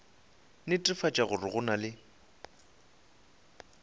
netefatša gore go na le